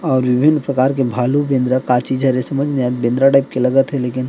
और विभिन प्रकार के भालू बेंद्रा का चीज हे रे समझ नही आये बेंद्रा टाइप के लगत हे लेकिन--